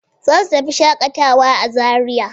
Za su tafi shaƙatawa a Zariya.